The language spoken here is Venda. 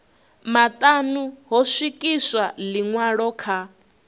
maṱanu ho swikiswa ḽiṅwalo kha